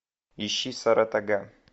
ищи саратога